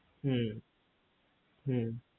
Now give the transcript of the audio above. হু হু